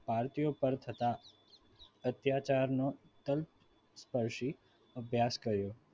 ભારતીયો પર થતા અત્યાચારનો સ્પર્શી અભ્યાસ કર્યો.